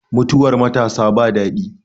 Mutuwar matasa ba daɗi